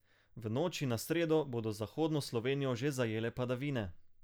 V noči na sredo bodo zahodno Slovenijo že zajele padavine.